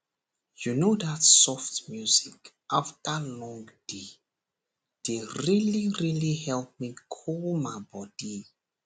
you know that soft music after long day dey really really help me cool my body